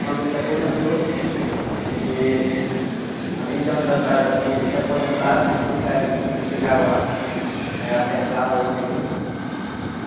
Quando ele se aposentou, que... Há vinte anos atrás aqui, se aposentar significaria, significava, eh, acertar na loteria, né?